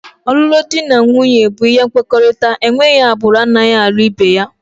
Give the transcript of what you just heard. Ọlụlụ dị na nwunye bụ ihe nkwekọrịta, enweghị agbụrụ anaghị alụ ibe ya